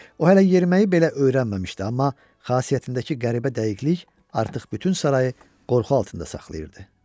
O hələ yeriməyi belə öyrənməmişdi, amma xasiyyətindəki qəribə dəqiqlik artıq bütün sarayı qorxu altında saxlayırdı.